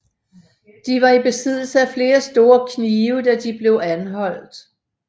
De var i besiddelse af flere store knive da de blev anholdt